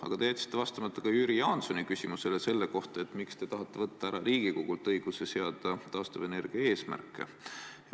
Aga te jätsite vastamata ka Jüri Jaansoni küsimusele selle kohta, miks te tahate võtta Riigikogult ära õiguse seada taastuvenergia eesmärke.